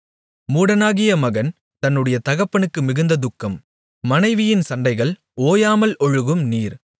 மூடனாகிய மகன் தன்னுடைய தகப்பனுக்கு மிகுந்த துக்கம் மனைவியின் சண்டைகள் ஓயாமல் ஒழுகும் நீர்